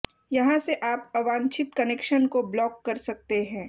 यहां से आप अवांछित कनेक्शन को ब्लॉक कर सकते हैं